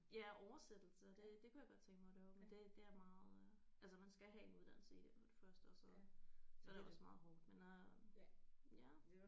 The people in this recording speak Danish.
Ja oversættelse det det kunne jeg godt tænke mig at lave men det det er meget øh altså man skal have en uddannelse i det for det første og så så er det også meget hårdt men øh ja